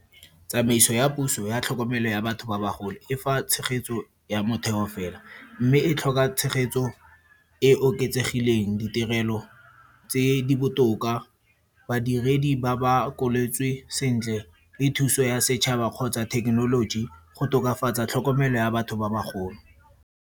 Tsamaiso ya puso ya tlhokomelo ya batho ba bagolo e fa tshegetso ya motheo fela. Mme e tlhoka tshegetso e oketsegileng, ditirelo tse di botoka, badiredi ba ba koletswe sentle le thuso ya setšhaba kgotsa thekenoloji go tokafatsa tlhokomelo ya batho ba bagolo.